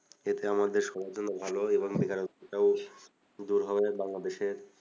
এতে আমাদের সবার জন্য ভালো এবং বেকারত্বটাও দূর হবে বাংলাদেশের